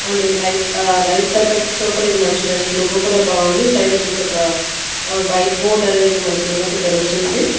And ఇది light ఆ lights effects తో కూడా ఇది మంచి లుక్ కూడా బాగుంది సైడ్ వచ్చేసి ఒక వైట్ బోర్డు అనేది ఇక్కడ మనకి ఉన్నట్లు తెలుస్తుంది ఇది.